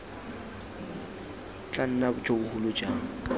tla nna jo bogolo jang